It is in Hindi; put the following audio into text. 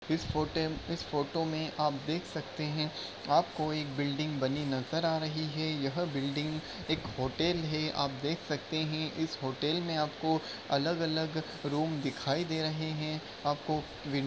इस फोटेम इस फोटो में आप देख सकते हैं। आपको एक बिल्डिंग बनी नज़र आ रही है। यह बिल्डिंग एक होटल है। आप देख सकते हैं इस होटल में आपको अलग-अलग रूम दिखाई दे रहे हैं। आपको विन --